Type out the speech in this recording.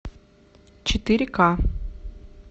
четыре ка